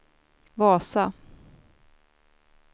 Vasa